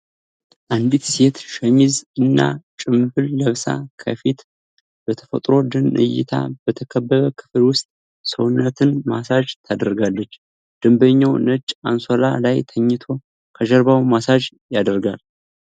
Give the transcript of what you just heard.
አንዲት ሴት ሸሚዝ እና ጭምብል ለብሳ፣ ከፊቷ በተፈጥሮ ደን እይታ በተከበበ ክፍል ውስጥ ሰውነትን ማሳጅ ታደርጋለች። ደንበኛው ነጭ አንሶላ ላይ ተኝቶ ከጀርባው ማሳጅ ይደረጋል።